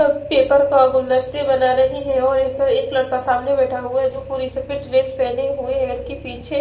और पेपर का गुलदस्ते बना रहे है और एक एक लड़का सामने बेठा हुआ है जो पूरी सफेद ड्रेस पहने हुए हैं इनके पीछे--